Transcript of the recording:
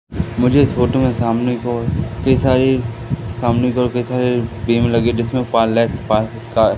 मुझे इस फोटो में सामने की ओर कई सारी सामने की ओर कई सारी बी_म लगी जिसमें--